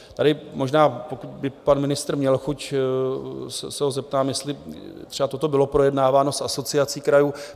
Tady možná, pokud by pan ministr měl chuť, se ho zeptám, jestli třeba toto bylo projednáváno s Asociací krajů.